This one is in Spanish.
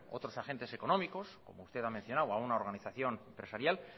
otros agentes económicos como usted ha mencionado o alguna organización empresarial